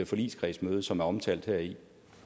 forligskredsmøde som er omtalt heri